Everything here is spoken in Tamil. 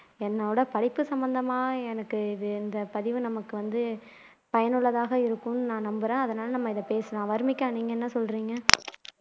என்னோட படிப்பு சம்பந்தமா எனக்கு இது இந்த பதிவு நமக்கு வந்து பயனுள்ளதாக இருக்கும்னு நான் நம்புறேன் அதனால நம்ம இதை பேசலாம் வர்னிகா நீங்க என்ன சொல்றீங்க